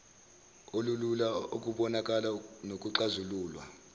olulula ukubonakala nokuxazululwa